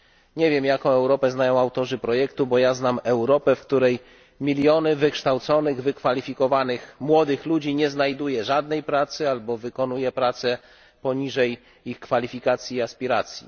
Nie wiem, jaką Europę znają autorzy projektu, bo ja znam Europę, w której miliony wykształconych, wykwalifikowanych młodych ludzi nie znajduje żadnej pracy albo wykonuje pracę poniżej ich kwalifikacji i aspiracji.